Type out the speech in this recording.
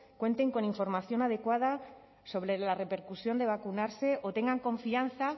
cuenten con información adecuada sobre la repercusión de vacunarse o tengan confianza